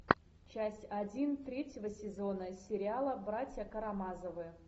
часть один третьего сезона сериала братья карамазовы